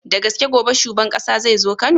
Da gaske gobe shuban ƙasa zai zo kano?